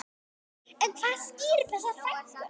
En hvað skýrir þessa fækkun?